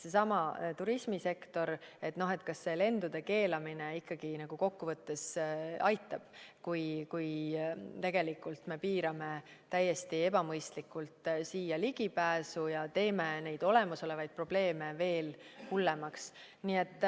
Seesama turismisektor – no kas lendude keelamine kokkuvõttes aitab, kui tegelikult me piirame täiesti ebamõistlikult siia ligipääsu ja teeme olemasolevaid probleeme veel hullemaks?